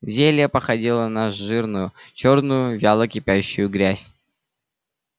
зелье походило на жирную чёрную вяло кипящую грязь